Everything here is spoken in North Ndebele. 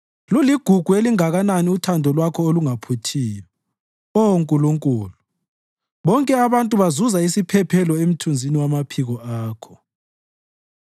Luligugu elinganani uthando Lwakho olungaphuthiyo, Oh Nkulunkulu! Bonke abantu bazuza isiphephelo emthunzini wamaphiko Akho.